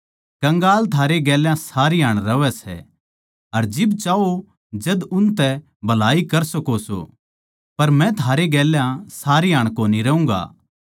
कंगाल थारै गेल्या सारी हाण रहवै सै अर थम जिब चाहो जद उनतै भलाई कर सको सो पर मै थारै गेल्या सारी हाण कोनी रहूँगा